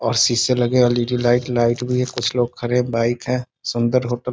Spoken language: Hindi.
और शीशे लगे लगे वाली जो लाइट भी है कुछ लोग खड़े हैं बाइक है सुंदर होटल ।